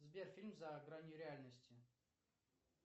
сбер фильм за гранью реальности